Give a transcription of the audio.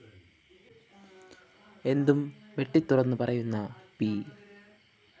എന്തും വെട്ടിത്തുറന്നു പറയുന്ന പി